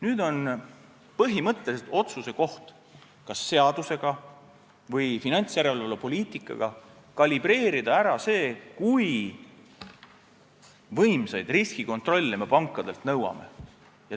Nüüd on põhimõtteliselt otsuse koht, kas seadusega või finantsjärelevalvepoliitikaga kalibreerida ära see, kui võimsaid riskikontrolle me pankadelt nõuame.